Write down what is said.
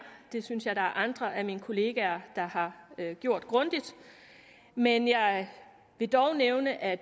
det synes jeg er andre af mine kollegaer der har gjort grundigt men jeg vil dog nævne at